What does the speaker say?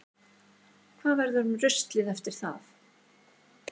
Hvað verður um ruslið eftir það?